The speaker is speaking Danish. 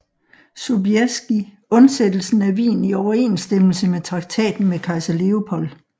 Sobieski undsættelsen af Wien i overensstemmelse med traktaten med kejser Lepold